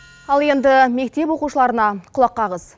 ал енді мектеп оқушыларына құлақ қағыз